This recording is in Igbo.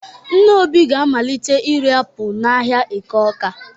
Nne Obi ga-amalite ire apụl n'ahịa Eke Ọ́ká.